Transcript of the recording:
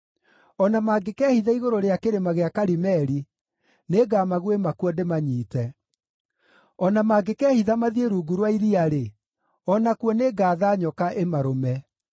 O na mangĩkehitha igũrũ rĩa kĩrĩma gĩa Karimeli, nĩngamaguĩma kuo ndĩmanyiite. O na mangĩkehitha mathiĩ rungu rwa iria-rĩ, o nakuo nĩngatha nyoka ĩmarũme.